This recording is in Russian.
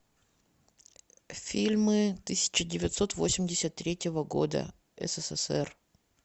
фильмы тысяча девятьсот восемьдесят третьего года ссср